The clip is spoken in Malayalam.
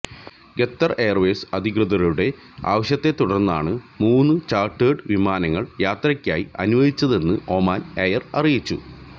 ഖത്തര് എയര്വേസ് അധികൃതരുടെ ആവശ്യത്തെ തുടര്ന്നാണ് മൂന്ന് ചാര്ട്ടേഡ് വിമാനങ്ങള് യാത്രക്കായി അനുവദിച്ചതെന്ന് ഒമാന് എയര് അറിയിച്ചു